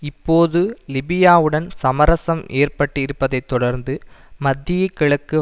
இப்போது லிபியாவுடன் சமரசம் ஏற்பட்டிருப்பதைத் தொடர்ந்து மத்தியகிழக்கு